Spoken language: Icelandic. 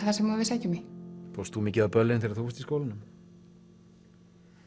það sem við sækjum í fórst þú mikið á böllin þegar þú varst í skólanum